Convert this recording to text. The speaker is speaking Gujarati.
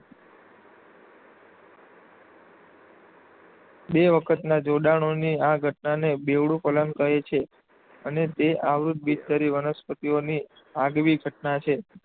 . બે વખતના જોડાણોની આ ઘટનાને બેવડું ફલન કહે છે અને તે આવૃત્ત બીજધારી વનસ્પતિઓની આગવી ઘટના છે.